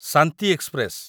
Shanti express